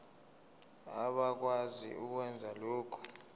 abakwazi ukwenza lokhu